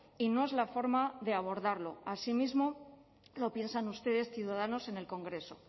y no es la forma de abordarlo asimismo lo piensan ustedes ciudadanos en el congreso